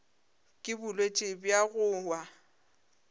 ke bolwetši bja go wa